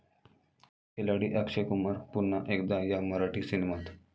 खिलाडी अक्षय कुमार पुन्हा एकदा 'या' मराठी सिनेमात!